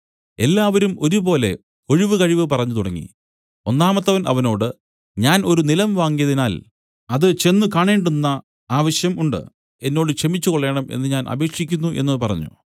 എല്ലാവരും ഒരുപോലെ ഒഴികഴിവ് പറഞ്ഞുതുടങ്ങി ഒന്നാമത്തവൻ അവനോട് ഞാൻ ഒരു നിലം വാങ്ങിയതിനാൽ അത് ചെന്ന് കാണേണ്ടുന്ന ആവശ്യം ഉണ്ട് എന്നോട് ക്ഷമിച്ചുകൊള്ളേണം എന്നു ഞാൻ അപേക്ഷിക്കുന്നു എന്നു പറഞ്ഞു